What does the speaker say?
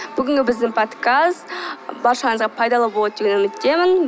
бүгінгі біздің подкаст баршаңызға пайдалы болады деген үміттемін